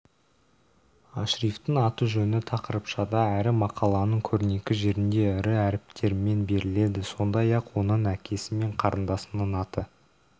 ашрифтің аты-жөні тақырыпшада әрі мақаланың көрнекі жерінде ірі әріптермен беріледі сондай-ақ оның әкесі мен қарындасының аты